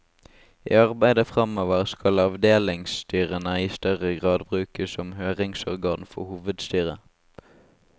I arbeidet framover, skal avdelingsstyrene i større grad brukes som høringsorgan for hovedstyret.